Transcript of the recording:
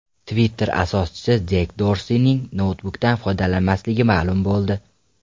Twitter asoschisi Jek Dorsining noutbukdan foydalanmasligi ma’lum bo‘ldi.